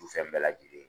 Fɛn bɛɛ lajɛlen